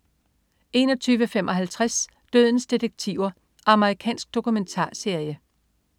21.55 Dødens detektiver. Amerikansk dokumentarserie